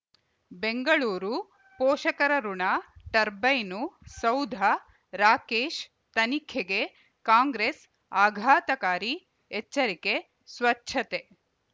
ಬೆಂಗಳೂರು ಪೋಷಕರಋಣ ಟರ್ಬೈನು ಸೌಧ ರಾಕೇಶ್ ತನಿಖೆಗೆ ಕಾಂಗ್ರೆಸ್ ಆಘಾತಕಾರಿ ಎಚ್ಚರಿಕೆ ಸ್ವಚ್ಛತೆ